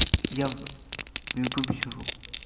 я в ютубе сижу